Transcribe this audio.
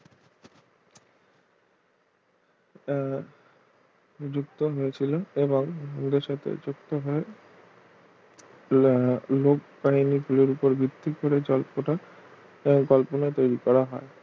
আহ যুক্ত হয়েছিল এবং ভবিষ্যতেও যুক্ত হয়ে আহ লোকবাহিনি গুলোর ওপর ভিত্তি করে জল্পনা কল্পনা তৈরি করা হয়